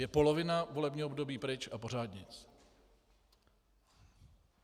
Je polovina volebního období pryč a pořád nic.